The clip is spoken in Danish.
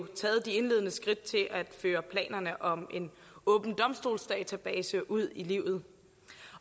taget de indledende skridt til at føre planerne om en åben domstolsdatabase ud i livet